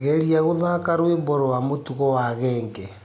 geria guthaka rwĩmbo rwa mutugo wa genge